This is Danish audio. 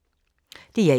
DR1